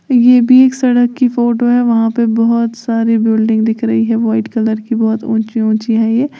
ये भी एक सड़क की फोटो है वहां पे बहुत सारी बिल्डिंग दिख रही है वाइट कलर की बहुत ऊंची ऊंची है ये।